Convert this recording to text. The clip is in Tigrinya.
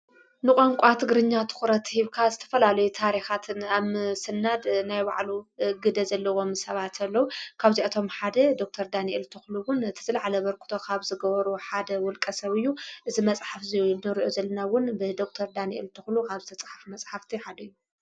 ንቛንቋ ትግርኛ ትዂረት ሂብካ ዝተፈላሉይ ታሪኻትን ኣም ስናድ ናይ ባዕሉ ግደ ዘለዎም ሰባት ኣለዉ ካብዚኣቶም ሓደ ዶክተር ዳንኤል ትዂሉውን ቲዝለዓለ በርክተኻብ ዝገበሩ ሓደ ውልቀ ሰብዩ እዝ መጽሓፍ እዙይ ንርዮ ዘለናውን ብደክተር ዳንኤል ትዂሉ ሃብ ተጽሓፍ መጽሓፍቲ ሃደዩ